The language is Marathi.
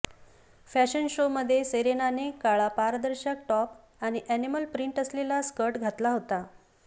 फॅशन शो मध्ये सेरेनाने काळा पारदर्शक टॉप आणि अॅनिमल प्रिंट असलेला स्कर्ट घातला होता